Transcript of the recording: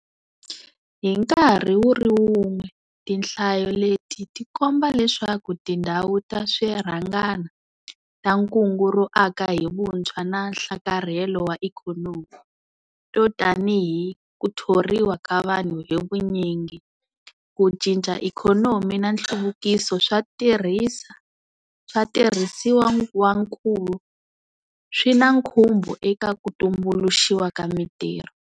Hi nkarhi wu ri wun'we, tinhlayo leti ti komba leswaku tindhawu ta swi rhangana ta Kungu ro Aka hi Vutshwa na Nhlakarhelo wa Ikhonomi - to tanihi ku thoriwa ka vanhu hi vunyingi, ku cinca ikhonomi na nhluvukiso swa tirhisa swa tirhisiwankulu - swi na nkhumbo eka ku tumbuluxiwa ka mitirho.